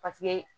Paseke